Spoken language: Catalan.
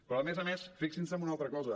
però a més a més fixin se en una altra cosa